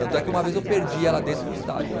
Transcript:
Tanto é que uma vez eu perdi ela dentro do estádio, né?